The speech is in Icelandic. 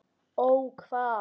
Ó hvað?